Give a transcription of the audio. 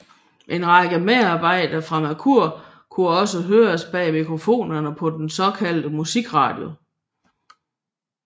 En række medarbejdere fra Mercur kunne også høres bag mikrofonerne på den såkaldte Musikradio